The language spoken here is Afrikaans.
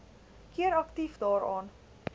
keer aktief daaraan